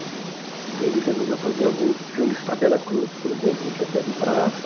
Aí ele resolveu fazer alguns filmes para a Veracruz, por exemplo, O Chofé de Praça.